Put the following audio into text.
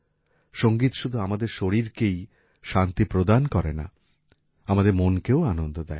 সংগীত শুধু আমাদের শরীরকেই শান্তি প্রদান করে না আমাদের মনকেও আনন্দ দেয়